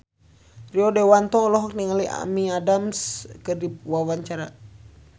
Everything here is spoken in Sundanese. Rio Dewanto olohok ningali Amy Adams keur diwawancara